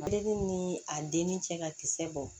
Ale ni a denni cɛ ka kisɛ bɔ